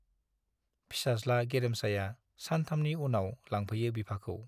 फिसाज्ला गेरेमसाया सानथामनि उनाव लांफैयो बिफाखौ।